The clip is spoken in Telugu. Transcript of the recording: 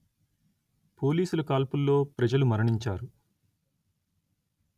పోలీసు కాల్పుల్లో ప్రజలు మరణించారు